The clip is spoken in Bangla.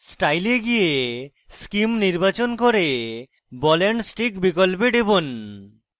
style এ গিয়ে scheme নির্বাচন করে ball and stick বিকল্পে টিপুন